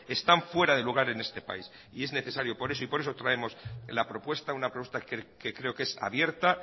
están fuera de lugar en este país y es necesario y por eso traemos la propuesta una propuesta que creo que es abierta